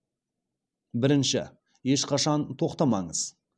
бірінші ешқашан тоқтамаңыз